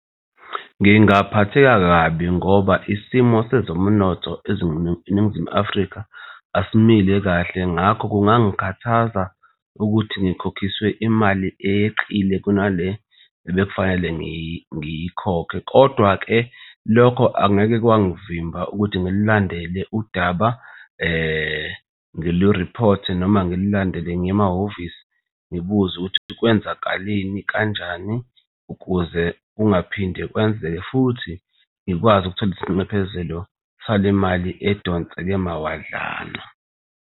Ngingaphatheka kabi ngoba isimo sezomnotho eNingizimu Afrika asimile kahle ngakho kungangikhathaza ukuthi ngikhokhiswe imali eyeqile kunale ebekufanele ngiyikhokhe. Kodwa-ke lokho angeke kwangivimba ukuthi ngilulandele udaba ngilu-reporte noma ngilulandele ngiye emahhovisi ngibuze ukuthi kwenzakaleni kanjani ukuze kungaphinde kwenzeke, futhi ngikwazi ukuthola isinxephezelo salemali edonseke mawadlana.